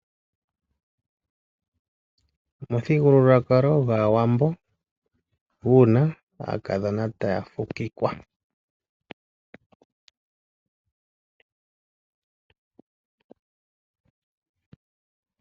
Omuthigululwakalo gwaAwambo muna aakadhona taya fukikwa.